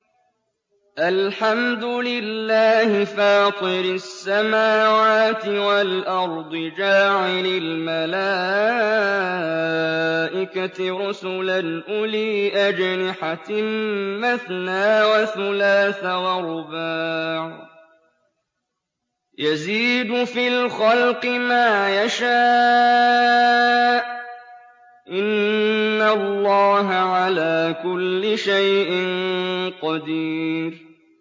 الْحَمْدُ لِلَّهِ فَاطِرِ السَّمَاوَاتِ وَالْأَرْضِ جَاعِلِ الْمَلَائِكَةِ رُسُلًا أُولِي أَجْنِحَةٍ مَّثْنَىٰ وَثُلَاثَ وَرُبَاعَ ۚ يَزِيدُ فِي الْخَلْقِ مَا يَشَاءُ ۚ إِنَّ اللَّهَ عَلَىٰ كُلِّ شَيْءٍ قَدِيرٌ